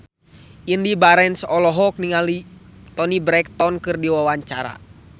Indy Barens olohok ningali Toni Brexton keur diwawancara